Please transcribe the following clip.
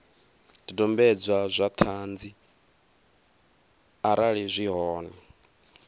zwidodombedzwa zwa ṱhanzi arali zwi hone